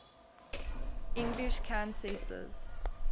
english countesses